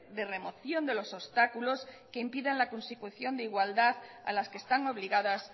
de remoción de los obstáculos que impidan la constitución de igualdad a las que están obligadas